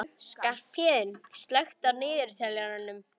Skarphéðinn, slökktu á niðurteljaranum.